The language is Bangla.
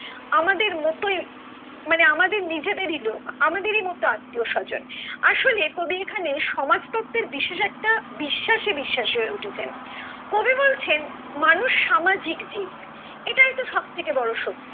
আমাদের মতোই মানে আমাদের নিজেদেরই লোক আমাদেরই মতো আত্মীয় স্বজন আসলে কবি এখানে সমাজ তত্ত্বের বিশেষ একটা বিশ্বাসে বিশ্বাসী হয়ে উঠেছেন কবি বলছেন মানুষ সামাজিক জীব এটাই তো সব থেকে বড়ো সত্য।